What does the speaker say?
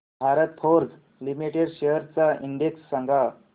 Bharat Forge Limited shares चा index सांगा